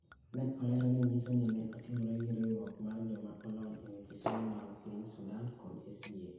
Ne olero ni nyiso ni ne otimre gi riwruok mar joma olony e weche somo mag piny Sudan kod SDA .